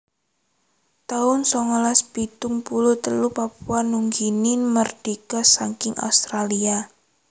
taun songolas pitung puluh telu Papua Nugini mardika saking Australia